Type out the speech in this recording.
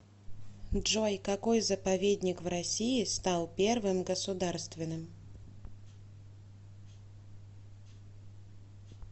джой какой заповедник в россии стал первым государственным